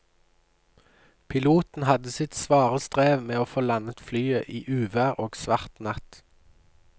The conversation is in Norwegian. Piloten hadde sitt svare strev med å få landet flyet i uvær og svart natt.